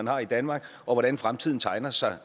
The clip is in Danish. har i danmark og hvordan fremtiden tegner sig